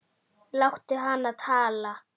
Látum hana tala.